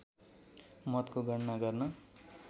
मतको गणना गर्न